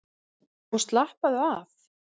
Og slappaðu af!